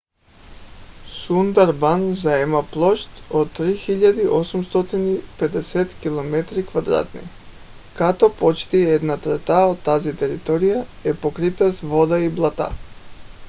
сундарбан заема площ от 3850 km² като почти една трета от тази територия е покрита с вода и блата